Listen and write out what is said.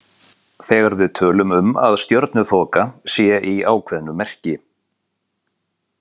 Þegar við tölum um að stjörnuþoka sé í ákveðnu merki.